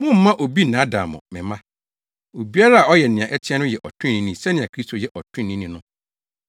Mommma obi nnaadaa mo, me mma. Obiara a ɔyɛ nea ɛteɛ no yɛ ɔtreneeni sɛnea Kristo yɛ ɔtreneeni no.